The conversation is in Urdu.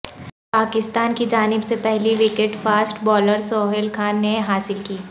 پاکستان کی جانب سے پہلی wicket fast bowler Sohail Khan نے حاصل کی